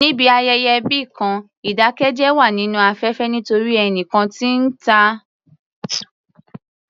Níbi ayẹyẹ ẹbí kan, ìdákẹ́jẹ́ wà nínú afẹ́fẹ́ nítorí ẹnìkan tí ó ń tàn alábàákẹ́gbẹ́ rẹ̀ jẹ.